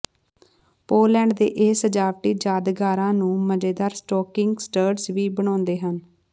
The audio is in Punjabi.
ਪੋਲੈਂਡ ਦੇ ਇਹ ਸਜਾਵਟੀ ਯਾਦਗਾਰਾਂ ਨੂੰ ਮਜ਼ੇਦਾਰ ਸਟੋਕਿੰਗ ਸਟਟਰਜ਼ ਵੀ ਬਣਾਉਂਦੇ ਹਨ